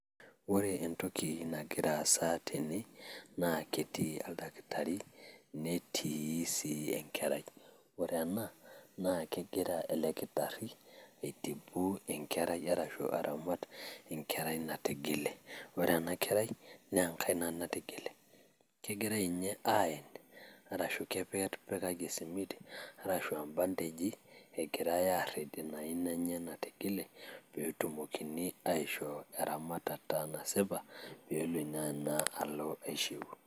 Ore entoki nagiraa aasa tene na ketii aldaktari netii sii enkerai. Ore ena naa kegiraa ele nkitarii aitibu enkerai arasho aramaat nkerai natijile. Ore ena nkerai nee nkaina natijilee. Kegirai ninye aeen arashuu kepeer nepikaki simiit arashu mbandejii egiraa airiid enia ainaa enye natijilee pee etuomokini ashoo eramatata nasipaa pee eloo enia ainaa aloo aishuu.